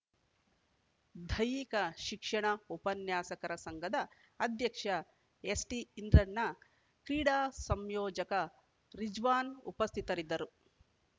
ದೈಹಿಕ ಶಿಕ್ಷಣ ಉಪನ್ಯಾಸಕರ ಸಂಘದ ಅಧ್ಯಕ್ಷ ಎಸ್‌ಟಿಇಂದ್ರಣ್ಣ ಕ್ರೀಡಾ ಸಂಯೋಜಕ ರಿಜ್ವಾನ್‌ ಉಪಸ್ಥಿತರಿದ್ದರು